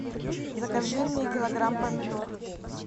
закажи мне килограмм помидор